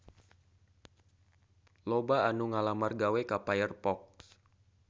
Loba anu ngalamar gawe ka Firefox